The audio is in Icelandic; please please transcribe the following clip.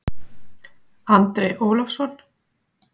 Andri Ólafsson